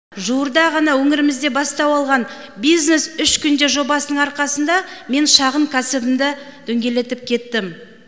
жуырда ғана өңірімізде бастау алған бизнес үш күнде жобасының арқасында мен шағын кәсібімді дөңгелетіп кеттім